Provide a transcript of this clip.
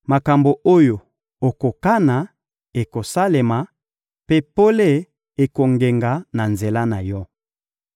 Makambo oyo okokana, ekosalema, mpe pole ekongenga na nzela na yo.